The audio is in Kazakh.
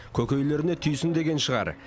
көкейлеріне түйсін деген шығар